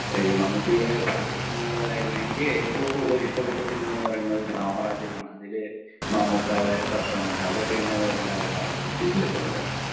ഇഹ് മമ്മൂട്ടിയുടെ പഴയ സിനിമകളായാലും എനിക്ക് ഏറ്റവും കൂടുതൽ ഇഷ്ടപ്പെട്ട സിനിമ എന്ന് പറയുന്നത് സാമ്രാജ്യം ആണ്. അതില് മമ്മൂക്കാടെ പെർഫോർമൻസ് അതൊക്കെ എന്നെ വല്ലാതെ ആകർഷിച്ചിട്ടുണ്ട്.